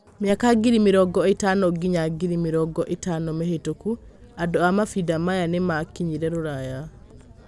Mĩaka ngiri mĩrongo ĩtano nginya ngiri mĩrongo ĩtano mĩhĩtũku: Andũ a mavinda maya nĩ maakinyire Rũraya.